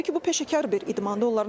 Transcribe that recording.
Təbii ki, bu peşəkar bir idmandır.